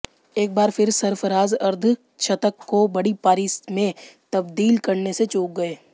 एक बार फिर सरफराज अर्धशतक को बड़ी पारी में तब्दील करने से चूक गए